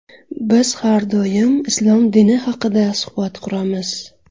Biz har doim islom dini haqida suhbat quramiz.